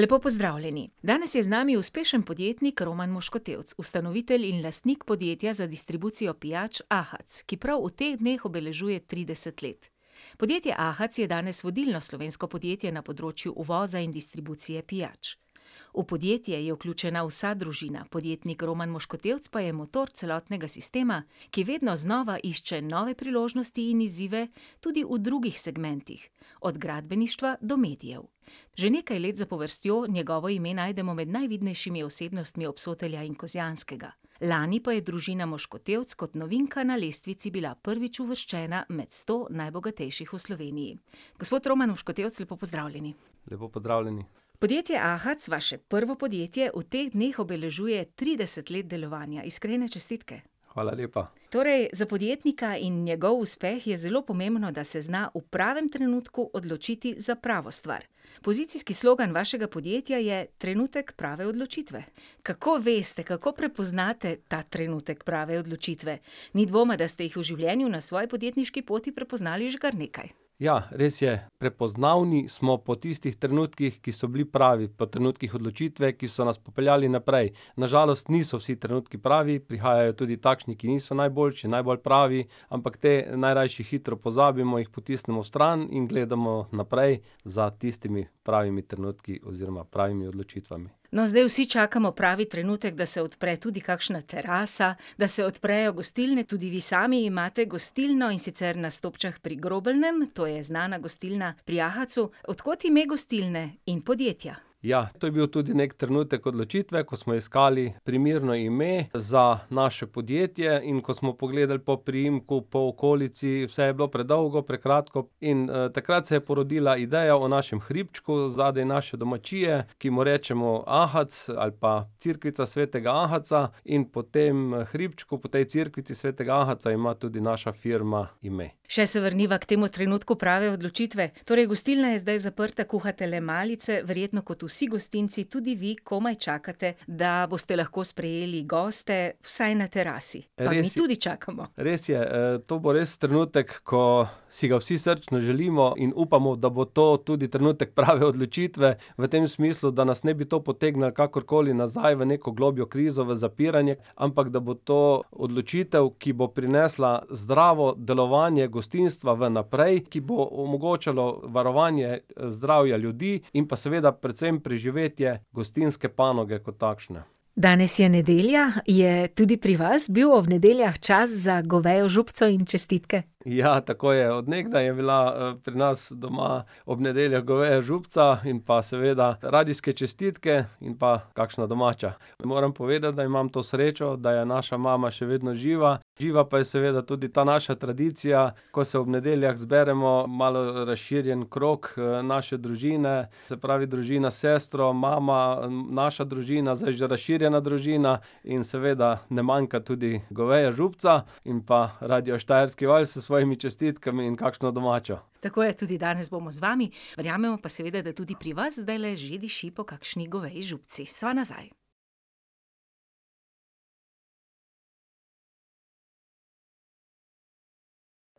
Lepo pozdravljeni. Danes je z nami uspešen podjetnik Roman Moškotevc, ustanovitelj in lastnik podjetja za distribucijo pijač Ahac, ki prav v teh dneh obeležuje trideset let. Podjetje Ahac je danes vodilno slovensko podjetje na področju uvoza in distribucije pijač. V podjetje je vključena vsa družina, podjetnik Roman Moškotevc pa je motor celotnega sistema, ki vedno znova išče nove priložnosti in izzive, tudi v drugih segmentih. Od gradbeništva do medijev. Že nekaj let zapovrstjo njegovo ime najdemo med najvidnejšimi osebnostmi Obsotelja in Kozjanskega, lani pa je družina Moškotevc kot novinka na lestvici bila prvič uvrščena med sto najbogatejših v Sloveniji. Gospod Roman Moškotevc, lepo pozdravljeni. Lepo pozdravljeni. Podjetje Ahac, vaše prvo podjetje, v teh dneh obeležuje trideset let delovanja. Iskrene čestitke. Hvala lepa. Torej za podjetnika in njegov uspeh je zelo pomembno, da se zna v pravem trenutku odločiti za pravo stvar. Pozicijski slogan vašega podjetja je trenutek prave odločitve. Kako veste, kako prepoznate ta trenutek prave odločitve? Ni dvoma, da ste jih v življenju na svoji podjetniški poti prepoznali že kar nekaj. Ja, res je. Prepoznavni smo po tistih trenutkih, ki so bili pravi, po trenutkih odločitve, ki so nas popeljali naprej. Na žalost niso vsi trenutki pravi, prihajajo tudi takšni, ki niso najboljši, najbolj pravi. Ampak te najrajši hitro pozabimo, jih potisnemo stran in gledamo naprej za tistimi pravimi trenutki oziroma pravimi odločitvami. No, zdaj vsi čakamo pravi trenutek, da se odpre tudi kakšna terasa, da se odprejo gostilne. Tudi vi sami imate gostilno, in sicer na Stopčah pri Grobelnem, to je znana gostilna pri Ahacu. Od kod ime gostilne in podjetja? Ja, to je bil tudi neki trenutek odločitve, ko smo iskali primerno ime za naše podjetje in ko smo pogledali po priimku, po okolici, vse je bilo predolgo, prekratko, in, takrat se je porodila ideja o našem hribčku zadaj, naše domačije, ki mu rečemo Ahac ali pa cerkvica svetega Ahaca in po tem hribčku, po tej cerkvici svetega Ahaca ima tudi naša firma ime. Še se vrniva k temu trenutku prave odločitve. Torej gostilna je zdaj zaprta, kuhate le malice, verjetno kot vsi gostinci tudi vi komaj čakate, da boste lahko sprejeli goste vsaj na terasi. Res je. Pa mi tudi čakamo. Res je. to bo res trenutek, ko si ga vsi srčno želimo in upamo, da bo to tudi trenutek prave odločitve. V tem smislu, da nas ne bi to potegnilo kakorkoli nazaj v neko globljo krizo, v zapiranje, ampak da bo to odločitev, ki bo prinesla zdravo delovanje gostinstva vnaprej, ki bo omogočalo varovanje, zdravja ljudi in pa seveda predvsem preživetje gostinske panoge kot takšne. Danes je nedelja. Je tudi pri vas bil ob nedeljah čas za govejo župico in čestitke? Ja, tako je. Od nekdaj je bila, pri nas doma ob nedeljah goveja župica in pa seveda radijske čestitke in pa kakšna domača. Moram povedati, da imam to srečo, da je naša mama še vedno živa, živa pa je seveda tudi ta naša tradicija, ko se ob nedeljah zberemo malo razširjen krog, naše družine se pravi družina s sestro, mama, naša družina, zdaj že razširjena družina. In seveda ne manjka tudi goveja župica in pa radio Štajerski val s svojimi čestitkami in kakšno domačo. Tako je, tudi danes bomo z vami. Verjamemo pa seveda, da tudi pri vas zdajle že diši po kakšni goveji župici. Sva nazaj.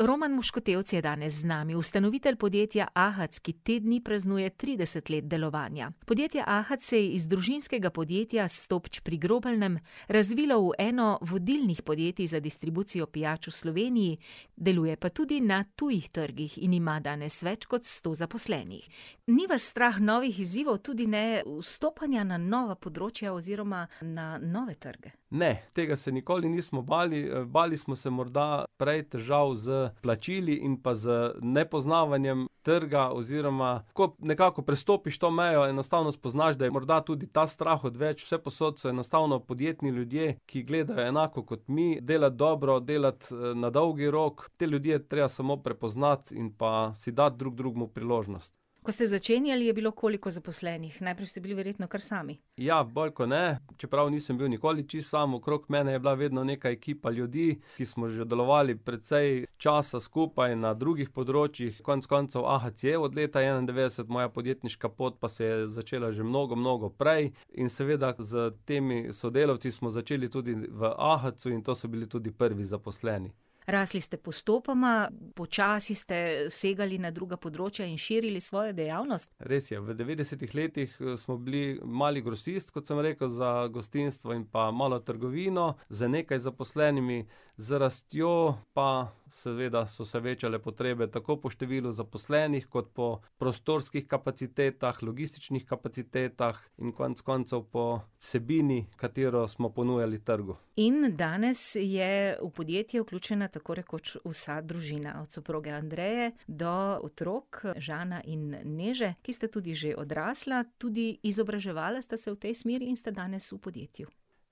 Roman Moškotevc je danes z nami, ustanovitelj podjetja Ahac, ki te dni praznuje trideset let delovanja. Podjetje Ahac se je iz družinskega podjetja s Stopč pri Grobelnem razvilo v eno vodilnih podjetij za distribucijo pijač v Sloveniji, deluje pa tudi na tujih trgih in ima danes več kot sto zaposlenih. Ni vas strah novih izzivov, tudi ne vstopanja na nova področja oziroma na nove trge. Ne. Tega se nikoli nismo bali. bali smo se morda prej težav s plačili in pa z nepoznavanjem trga, oziroma ko nekako prestopiš to mejo, enostavno spoznaš, da je morda tudi ta strah odveč. Vsepovsod so enostavno podjetni ljudje, ki gledajo enako kot mi. Delati dobro, delati, na dolgi rok. Te ljudi je treba samo prepoznati in pa si dati drug drugemu priložnost. Ko ste začenjali, je bilo koliko zaposlenih? Najprej ste bili verjetno kar sami? Ja, bolj kot ne. Čeprav nisem bil nikoli čisto sam, okrog mene je bila vedno neka ekipa ljudi, ki smo že delovali precej časa skupaj na drugih področjih. Konec koncev Ahac je od leta enaindevetdeset, moja podjetniška pot pa se je začela že mnogo, mnogo prej. In seveda s temi sodelavci smo začeli tudi v Ahacu in to so bili tudi prvi zaposleni. Rasli ste postopoma. Počasi ste segali na druga področja in širili svojo dejavnost. Res je. V devetdesetih letih, smo bili mali grosist, kot sem rekel, za gostinstvo in pa malo trgovino z nekaj zaposlenimi, z rastjo pa seveda so se večale potrebe tako po številu zaposlenih kot po prostorskih kapacitetah, logističnih kapacitetah in konec koncev po vsebini, katero smo ponujali trgu. In danes je v podjetje vključena tako rekoč vsa družina, od soproge Andreje do otrok, Žana in Neže, ki sta tudi že odrasla. Tudi izobraževala sta se v tej smeri in sta danes v podjetju.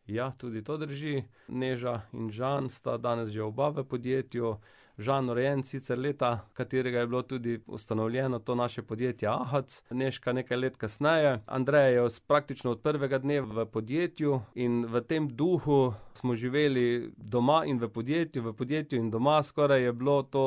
Ja, tudi to drži. Neža in Žan sta danes že oba v podjetju. Žan rojen sicer leta, katerega je bilo tudi ustanovljeno to naše podjetje Ahac, Nežka nekaj let kasneje. Andreja je praktično od prvega dne v podjetju in v tem duhu smo živeli doma in v podjetju. V podjetju in doma skoraj je bilo to,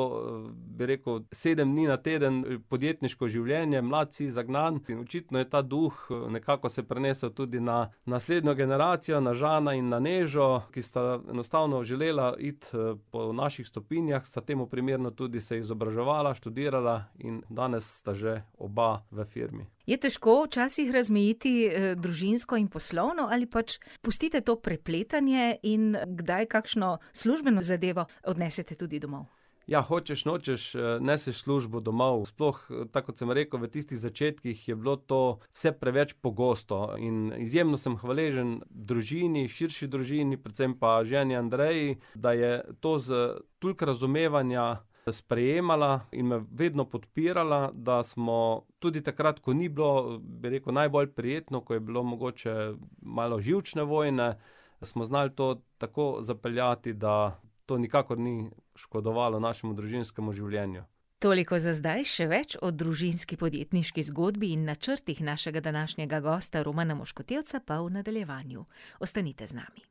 bi rekel, sedem dni na teden podjetniško življenje. Mlad si, zagnan in očitno je ta duh, nekako se prenesel tudi na naslednjo generacijo, na Žana in na Nežo, ki sta enostavno želela iti, po naših stopinjah, sta temu primerno tudi se izobraževala, študirala in danes sta že oba v firmi. Je težko včasih razmejiti, družinsko in poslovno ali pač pustite to prepletanje in kdaj kakšno službeno zadevo odnesete tudi domov? Ja, hočeš, nočeš, neseš službo domov, sploh tako kot sem rekel, v tistih začetkih je bilo to vse preveč pogosto. In izjemno sem hvaležen družini, širši družini, predvsem pa ženi Andreji, da je to s toliko razumevanja sprejemala in me vedno podpirala, da smo tudi takrat, ko ni bilo, bi rekel, najbolj prijetno, ko je bilo mogoče malo živčne vojne, smo znali to tako zapeljati, da to nikakor ni škodovalo našemu družinskemu življenju. Toliko za zdaj, še več o družinski podjetniški zgodbi in načrtih našega današnjega gosta Romana Moškotevca pa v nadaljevanju. Ostanite z nami.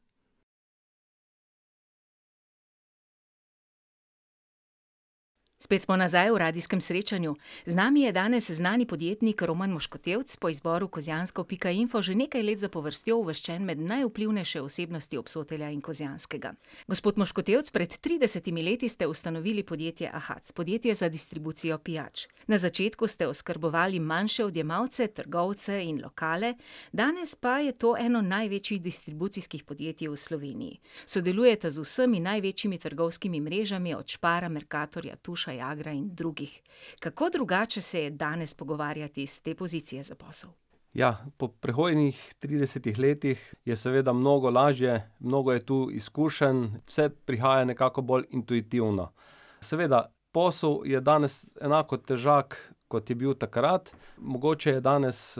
Spet smo nazaj v radijskem srečanju. Z nami je danes znani podjetnik Roman Moškotevc, po izboru kozjansko pika info že nekaj let zapovrstjo uvrščen med najvplivnejše osebnosti Obsotelja in Kozjanskega. Gospod Moškotevc, pred tridesetimi leti ste ustanovili podjetje Ahac, podjetje za distribucijo pijač. Na začetku ste oskrbovali manjše odjemalce, trgovce in lokale, danes pa je to eno največjih distribucijskih podjetij v Sloveniji. Sodelujete z vsemi največjimi trgovskimi mrežami, od Spara, Mercatorja, Tuša, Jagra in drugih. Kako drugače se je danes pogovarjati s te pozicije za posel? Ja, po prehojenih tridesetih letih je seveda mnogo lažje, mnogo je tu izkušenj, vse prihaja nekako bolj intuitivno. Seveda, posel je danes enako težak, kot je bil takrat. Mogoče je danes,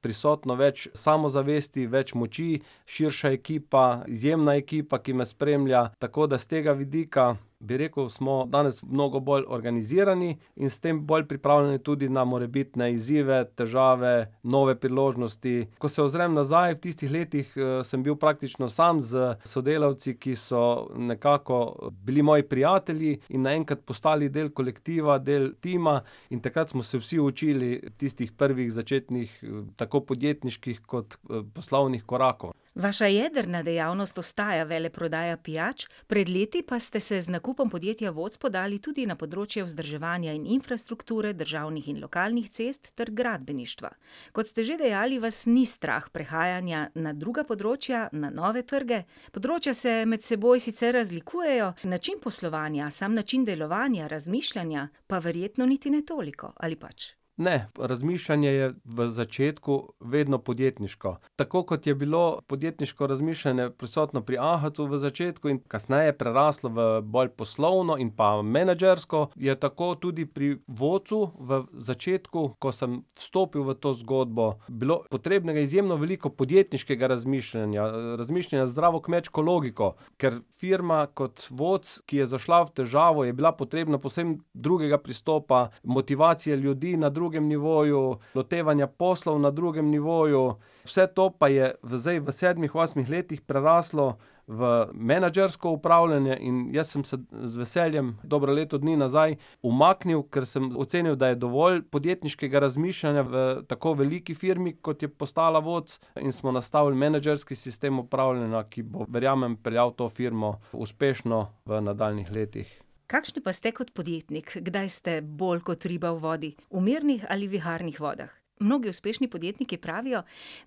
prisotno več samozavesti, več moči, širša ekipa, izjemna ekipa, ki me spremlja. Tako da s tega vidika, bi rekel, smo danes mnogo bolj organizirani in s tem pol pripravljeni tudi na morebitne izzive, težave, nove priložnosti. Ko se ozrem nazaj, v tistih letih, sem bil praktično sam s sodelavci, ki so nekako bili moji prijatelji in naenkrat postali del kolektiva, del tima. In takrat smo se vsi učili tistih prvih, začetnih tako podjetniških kot, poslovnih korakov. Vaša jedrna dejavnost ostaja veleprodaja pijač, pred leti pa ste se z nakupom podjetja Voc podali tudi na področje vzdrževanja in infrastrukture državnih in lokalnih cest ter gradbeništva. Kot ste že dejali, vas ni strah prehajanja na druga področja, na nove trge. Področja se med seboj sicer razlikujejo, način poslovanja, sam način delovanja, razmišljanja pa verjetno niti ne toliko, ali pač? Ne, razmišljanje je v začetku vedno podjetniško. Tako kot je bilo podjetniško razmišljanje prisotno pri Ahacu v začetku, je kasneje preraslo v bolj poslovno in pa menedžersko, je tako tudi pri Vocu v začetku, ko sem stopil v to zgodbo, bilo potrebno izjemno veliko podjetniškega razmišljanja, razmišljanja z zdravo kmečko logiko. Ker firma kot Voc, ki je zašla v težavo, je bila potrebna povsem drugega pristopa, motivacije ljudi na drugem nivoju, lotevanja poslov na drugem nivoju. Vse to pa je zdaj v sedmih, osmih letih preraslo v menedžersko upravljanje in jaz sem se z veseljem dobro leto dni nazaj umaknil, ker sem ocenil, da je dovolj podjetniškega razmišljanja v tako veliki firmi, kot je postala Voc, in smo nastavili menedžerski sistem upravljanja, ki bo verjamem peljal to firmo uspešno v nadaljnjih letih. Kakšni pa ste kot podjetnik? Kdaj ste bolj kot riba v vodi? V mirnih ali viharnih vodah? Mnogi uspešni podjetniki pravijo,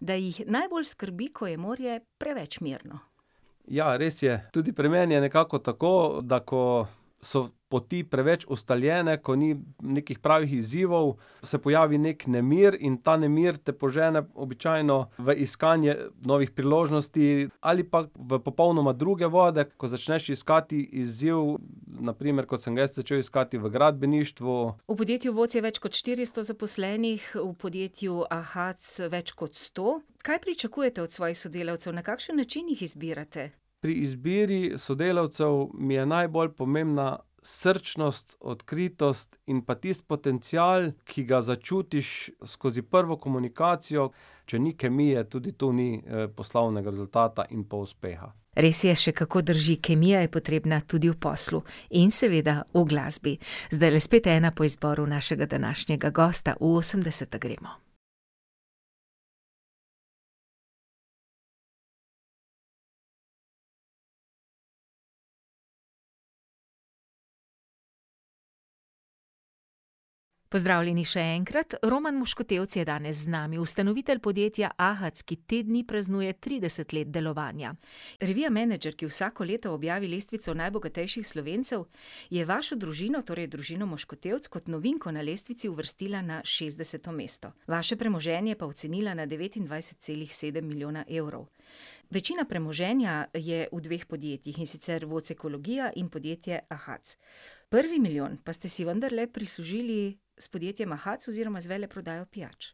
da jih najbolj skrbi, ko je morje preveč mirno. Ja, res je. Tudi pri meni je nekako tako, da ko so poti preveč ustaljene, ko ni nekih pravih izzivov, se pojavi neki nemir, in ta nemir te požene običajno v iskanje novih priložnosti ali pa v popolnoma druge vode, kot začneš iskati izziv, na primer kot sem ga jaz začel iskati v gradbeništvu. V podjetju Voc je več kot štiristo zaposlenih, v podjetju Ahac več kot sto. Kaj pričakujete od svojih sodelavcev? Na kakšen način jih izbirate? Pri izbiri sodelavcev mi je najbolj pomembna srčnost, odkritost in pa tisti potencial, ki ga začutiš skozi prvo komunikacijo. Če ni kemije, tudi tu ni poslovnega rezultata in pa uspeha. Res je, še kako drži. Kemija je potrebna tudi v poslu. In seveda v glasbi. Zdajle spet ena po izboru našega današnjega gosta. V osemdeseta gremo. Pozdravljeni še enkrat. Roman Moškotevc je danes z nami, ustanovitelj podjetja Ahac, ki te dni praznuje trideset let delovanja. Revija Menedžer, ki vsako leto objavi lestvico najbogatejših Slovencev, je vašo družino, torej družino Moškotevc, kot novinko na lestvici uvrstila na šestdeseto mesto, vaše premoženje pa ocenila na devetindvajset celih sedem milijona evrov. Večina premoženja je v dveh podjetjih, in sicer Voc ekologija in podjetje Ahac. Prvi milijon pa ste si vendarle prislužili s podjetjem Ahac oziroma z veleprodajo pijač.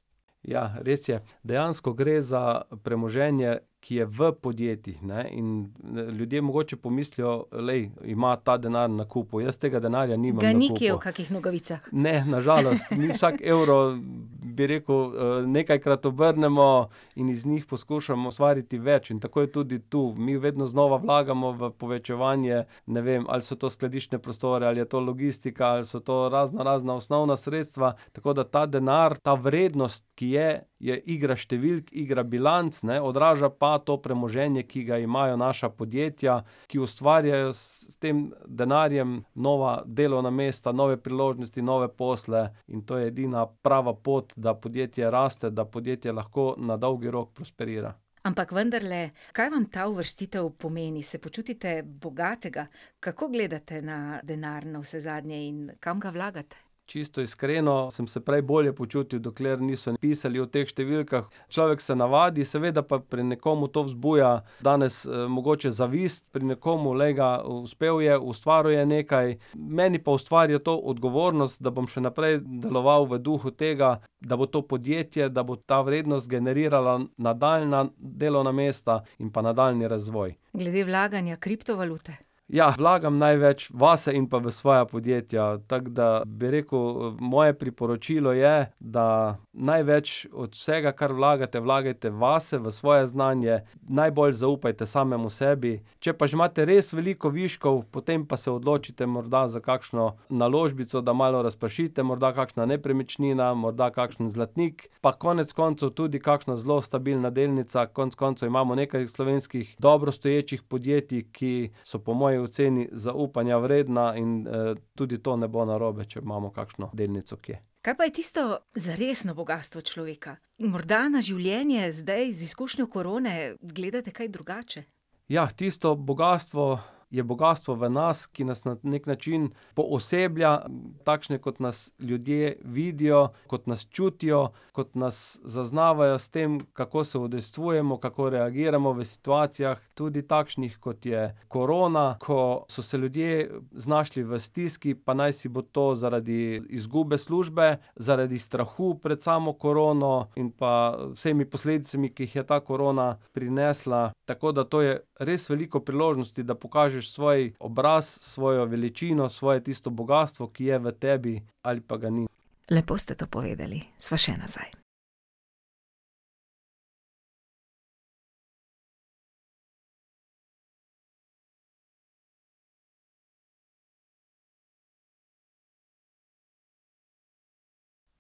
Ja, res je. Dejansko gre za premoženje, ki je v podjetjih, ne. In ljudje mogoče pomislijo: "Glej, ima ta denar na kupu." Jaz tega denarja nimam na kupu. Ga ni kje v kakih nogavicah? Ne, na žalost. Vsak evro, bi rekel, nekajkrat obrnemo in iz njih poskušamo ustvariti več. In tako je tudi tu. Mi vedno znova vlagamo v povečevanje, ne vem, ali so to skladiščne prostore, ali je to logistika, ali so to raznorazna osnovna sredstva, tako da ta denar, ta vrednost, ki je, je igra številk, igra bilanc, ne. Odraža pa to premoženje, ki ga imajo naša podjetja, ki ustvarjajo s tem denarjem nova delovna mesta, nove priložnosti, nove posle, in to je edina prava pot, da podjetje raste, da podjetje lahko na dolgi rok prosperira. Ampak vendarle, kaj vam ta uvrstitev pomeni? Se počutite bogatega? Kako gledate na denar navsezadnje in kam ga vlagate? Čisto iskreno, sem se prej bolje počutil, dokler niso pisali o teh številkah. Človek se navadi, seveda pa pri nekomu to vzbuja danes, mogoče zavist, pri nekomu: "Glej ga, uspel je, ustvaril je nekaj." Meni pa ustvarja to odgovornost, da bom še naprej deloval v duhu tega, da bo to podjetje, da bo ta vrednost generirala nadaljnja delovna mesta in pa nadaljnji razvoj. Glede vlaganja, kriptovalute. Ja, vlagam največ vase in pa v svoja podjetja. Tako da, bi rekel, moje priporočilo je, da največ od vsega, kar vlagate, vlagajte vase, v svoje znanje, najbolj zaupajte samemu sebi. Če pa že imate res veliko viškov, potem pa se odločite morda za kakšno naložbico, da malo razpršite. Morda kakšna nepremičnina, morda kakšen zlatnik. Pa konec koncev tudi kakšna zelo stabilna delnica, konec koncev imamo nekaj slovenskih dobro stoječih podjetij, ki so po moji oceni zaupanja vredna in, tudi to ne bo narobe, če imamo kakšno delnico kje. Kaj pa je tisto, zaresno bogastvo človeka? Morda na življenje zdaj z izkušnjo korone gledate kaj drugače? Ja, tisto bogastvo je bogastvo v nas, ki nas na neki način pooseblja takšne, kot nas ljudje vidijo, kot nas čutijo, kot nas zaznavajo s tem, kako se udejstvujemo, kako reagiramo v situacijah, tudi takšnih, kot je korona, ko so se ljudje znašli v stiski, pa najsi bo zaradi izgube službe, zaradi strahu pred samo korono in pa vsemi posledicami, ki jih je ta korona prinesla. Tako da to je res veliko priložnosti, da pokažeš svoj obraz, svojo veličino, svoje tisto bogastvo, ki je v tebi ali pa ga ni. Lepo ste to povedali. Sva še nazaj.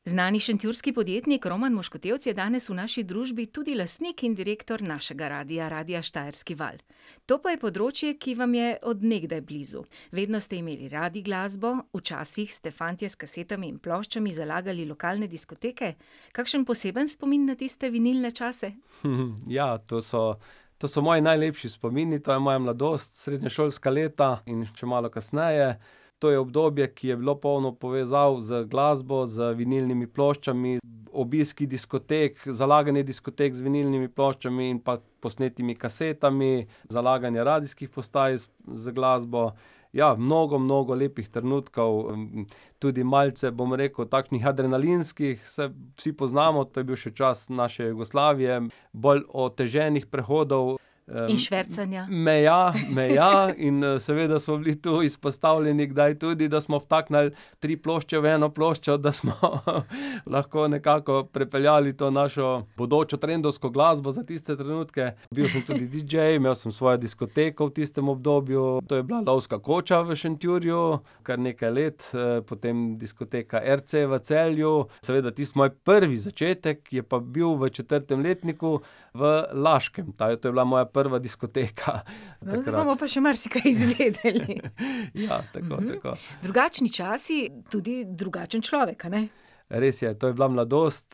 Znani šentjurski podjetnik Roman Moškotevc je danes v naši družbi, tudi lastnik in direktor našega radia, radia Štajerski val. To pa je področje, ki vam je od nekdaj blizu. Vedno ste imeli radi glasbo, včasih ste fantje s kasetami in ploščami zalagali lokalne diskoteke. Kakšen poseben spomin na tiste vinilne čase? ja, to so, to so moji najlepši spomini, to je moja mladost, srednješolska leta in še malo kasneje. To je obdobje, ki je bilo polno povezav z glasbo, z vinilnimi ploščami, obiski diskotek, zalaganje diskotek z vinilnimi ploščami in pa posnetimi kasetami, zalaganje radijskih postaj z glasbo. Ja, mnogo, mnogo lepih trenutkov, tudi malce, bom rekel, takšnih adrenalinskih, saj vsi poznamo, to je bil še čas naše Jugoslavije, bolj oteženih prehodov In švercanja. meja, meja. In seveda smo bili tu kdaj izpostavljeni tudi, da smo vtaknili tri plošče v eno ploščo, da smo, lahko nekako prepeljali to našo bodočo trendovsko glasbo za tiste trenutke. Bil sem tudi didžej, imel sem svojo diskoteko v tistem obdobju. To je bila lovska koča v Šentjurju kar nekaj let, potem diskoteka RC v Celju. Seveda tisti moj prvi začetek je pa bil v četrtem letniku v Laškem, ta to je bila moja prva diskoteka No, zdaj bomo pa še marsikaj izvedeli. takrat. Ja, tako, tako. Drugačni časi, tudi drugačen človek, a ne? Res je. To je bila mladost.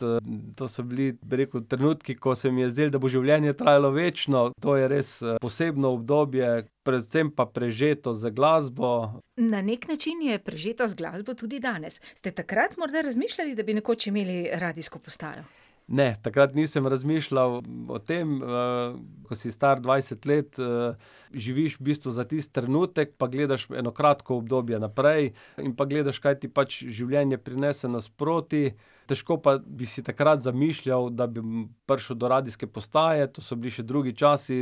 to so bili, bi rekel, trenutki, ko se mi je zdelo, da bo življenje trajalo večno. To je res posebno obdobje, predvsem pa prežeto z glasbo. Na neki način je prežeto z glasbo tudi danes. Ste takrat morda razmišljali, da bi nekoč imeli radijsko postajo? Ne, takrat nisem razmišljali o tem. ko si star dvajset let, živiš v bistvu za tisti trenutek pa gledaš eno kratko obdobje naprej in pa gledaš, kaj ti pač življenje prinese nasproti. Težko pa bi si takrat zamišljal, da bi prišel do radijske postaje. To so bili še drugi časi,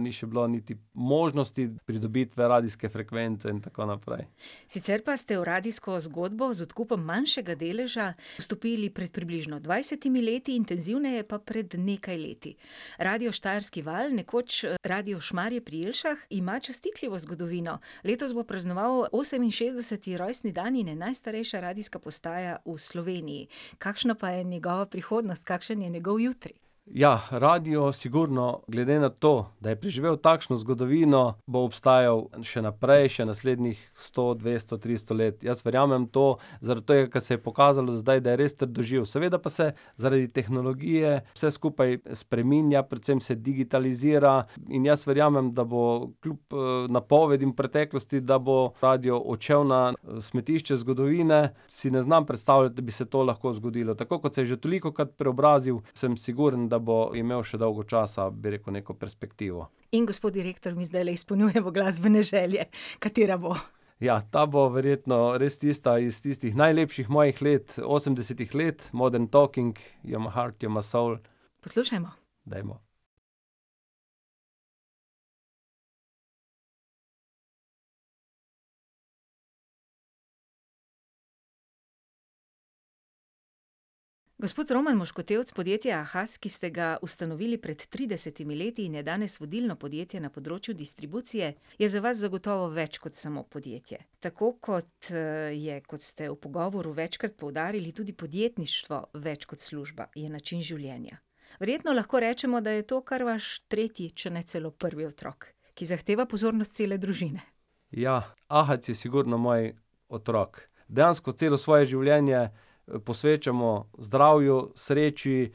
ni še bilo niti možnosti pridobitve radijske frekvence in tako naprej. Sicer pa ste v radijsko zgodbo z odkupom manjšega deleža vstopili pred približno dvajsetimi leti, intenzivneje pa pred nekaj leti. Radio Štajerski val, nekoč Radio Šmarje pri Jelšah, ima častitljivo zgodovino. Letos bo praznoval oseminšestdeseti rojstni dan in je najstarejša radijska postaja v Sloveniji. Kakšna pa je njegova prihodnost, kakšen je njegov jutri? Ja, radio sigurno glede na to, da je preživel takšno zgodovino, bo obstajal še naprej, še naslednjih sto, dvesto, tristo let. Jaz verjamem v to zaradi tega, kar se je pokazalo do zdaj, da je res trdoživ. Seveda pa se zaradi tehnologije vse skupaj spreminja, predvsem se digitalizira, in jaz verjamem da bo, kljub napovedim v preteklosti, da bo radio odšel na smetišče zgodovine, si ne znam predstavljati, da bi se to lahko zgodilo. Tako kot se je že tolikokrat preobrazil, samo sigurno, da bo imel še dolgo časa, bi rekel, neko perspektivo. In gospod direktor, mi zdajle izpolnjujemo glasbene želje. Katera bo? Ja, ta bo verjetno res tista iz tistih najlepših mojih let, osemdesetih let, Modern talking You're my heart, you're my soul. Poslušajmo. Dajmo. Gospod Roman Moškotevc, podjetje Ahac, ki ste ga ustanovili pred tridesetimi leti in je danes vodilno podjetje na področju distribucije, je za vas zagotovo več kot samo podjetje. Tako kot, je, kot ste v pogovoru večkrat poudarili, tudi podjetništvo več kot služba, je način življenja. Verjetno lahko rečemo, da je to kar vaš tretji, če ne celo prvi otrok, ki zahteva pozornost cele družine. Ja. Ahac je sigurno moj otrok. Dejansko celo svoje življenje, posvečamo zdravju, sreči,